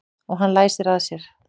Og hann læsir að sér.